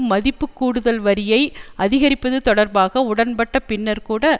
மதிப்புக்கூடுதல் வரியை அதிகரிப்பது தொடர்பாக உடன்பட்ட பின்னர் கூட